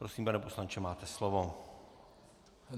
Prosím, pane poslanče, máte slovo.